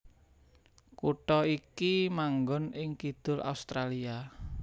Kutha iki manggon ing kidul Australia